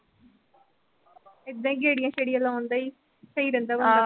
ਏਦਾਂ ਈ ਗੇੜੀਆਂ-ਸ਼ੇੜੀਆਂ ਲਾਉਂਦਾ ਈ, ਸਹੀ ਰਹਿੰਦਾ ਬੰਦਾ ਘੰਮਦਾ-ਫਿਰਦਾ